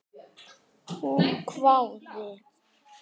Hún hváði.